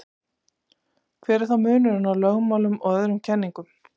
hver er þá munurinn á lögmálum og öðrum kenningum